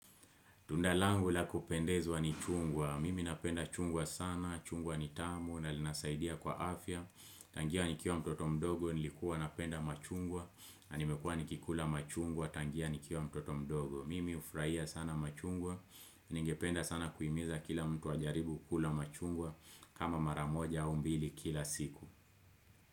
Tunda langu la kupendezwa ni chungwa, mimi napenda chungwa sana, chungwa ni tamu, na linasaidia kwa afya, tangia nikiwa mtoto mdogo, nilikua napenda machungwa, na nimekuwa nikikula machungwa, tangia nikiwa mtoto mdogo, mimi hufuraia sana machungwa, ningependa sana kuhimiza kila mtu wajaribu kula machungwa, kama maramoja au mbili kila siku.